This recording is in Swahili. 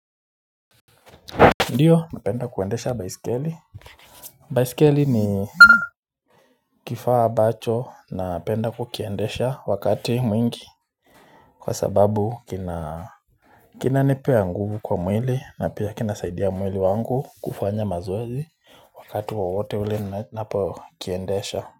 Ndiyo napenda kuendesha baisikeli. Baiskeli ni kifaa ambacho napenda kukiendesha wakati mwingi kwa sababu kina, kinanipea nguvu kwa mwili na pia kinasaidia mwili wangu kufanya mazoezi wakati wowote ule ninapokiendesha.